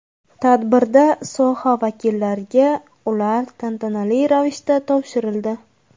Tadbirda soha vakillariga ular tantanali ravishda topshirildi.